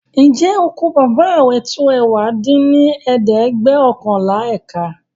ǹjẹ́ oko Bábà rẹ tó ẹ̀wá dín ní ẹ̀ẹ́dẹ́gbẹ́ọ̀kànlá ékà?